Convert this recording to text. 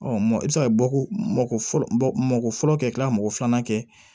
i bɛ se ka bɔ ko fɔlɔ mako fɔlɔ kɛla mɔgɔ filanan kɛ